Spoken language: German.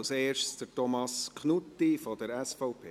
als erster Thomas Knutti von der SVP.